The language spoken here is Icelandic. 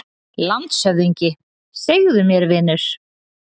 LANDSHÖFÐINGI: Segðu mér, vinur.